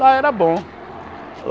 Lá era bom.